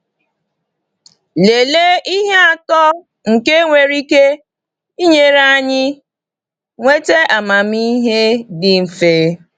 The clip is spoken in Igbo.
Lelee ihe atọ nke nwere ike inyere anyị nweta amamihe dị mfe.